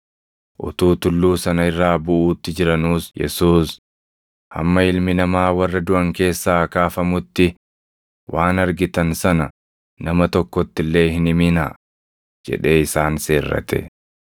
Utuu tulluu sana irraa buʼuutti jiranuus Yesuus, “Hamma Ilmi Namaa warra duʼan keessaa kaafamutti waan argitan sana nama tokkotti illee hin himinaa” jedhee isaan seerrate.